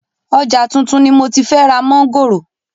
Ọjà tuntun ni moti fẹ́ ra mọ̀ngòrò